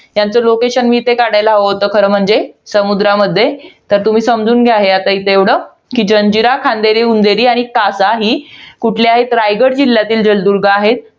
त्यांचं location इथे काढायला हवं होतं, खरं म्हणजे समुद्रामध्ये. तर तुम्ही समजून घ्या इथे एवढं. तर जंजिरा, खांदेरी उंदेरी आणि कासा ही कुठले आहेत? रायगड जिल्ह्यातील जलदुर्ग आहेत.